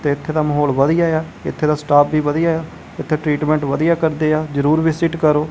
ਤੇ ਇੱਥੇ ਦਾ ਮਾਹੌਲ ਵਧੀਆ ਆ ਇੱਥੇ ਦਾ ਸਟਾਫ ਵੀ ਵਧੀਆ ਆ ਇੱਥੇ ਟਰੀਟਮੈਂਟ ਵਧੀਆ ਕਰਦੇ ਆ ਜਰੂਰ ਵੀਸਿਟ ਕਰੋ।